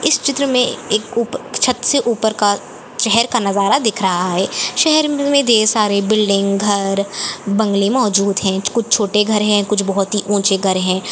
इस चित्र में एक ऊपर अ छत से ऊपर का शहर का नजारा दिख रहा है शहर में ढेर सारे बिल्डिंग घर बंगले मौजूद है कुछ छोटे घर है कुछ बहुत ही ऊँचे घर हैं।